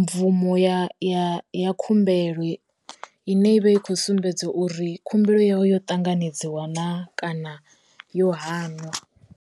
mvumo ya ya ya khumbelo i ne i vha i khou sumbedza uri khumbelo yau yo ṱanganedziwa na kana yo hanwa.